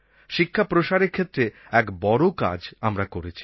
শিক্ষা প্রসারের ক্ষেত্রে এক বড়ো কাজ আমরা করেছি